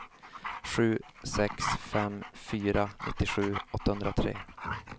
sju sex fem fyra nittiosju åttahundratre